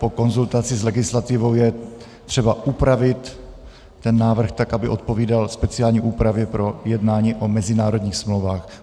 Po konzultaci s legislativou je třeba upravit ten návrh tak, aby odpovídal speciální úpravě pro jednání o mezinárodních smlouvách.